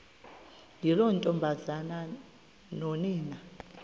yiloo ntombazana nonina